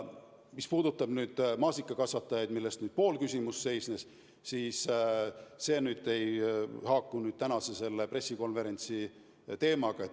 Mis puudutab maasikakasvatajaid, keda küsimuse teises pooles nimetati, siis see ei haaku tänase teemaga.